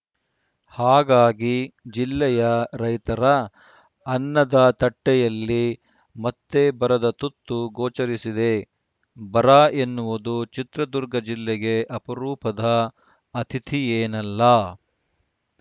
ಹಾಗಾಗಿ ಜಿಲ್ಲೆಯ ರೈತರ ಅನ್ನದ ತಟ್ಟೆಯಲ್ಲಿ ಮತ್ತೆ ಬರದ ತುತ್ತು ಗೋಚರಿಸಿದೆ ಬರ ಎನ್ನುವುದು ಚಿತ್ರದುರ್ಗ ಜಿಲ್ಲೆಗೆ ಅಪರೂಪದ ಅತಿಥಿಯೇನಲ್ಲ